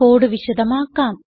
code വിശദമാക്കാം